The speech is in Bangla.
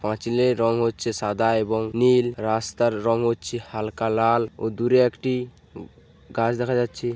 পাঁচিলের রং হচ্ছে সাদা এবং নীল রাস্তার রং হচ্ছে হালকা লাল ও দূরে একটি গাছ দেখা যাচ্ছে--